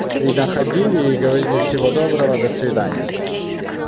и находили и говорили всего доброго до свидания